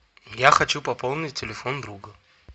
я хочу пополнить телефон друга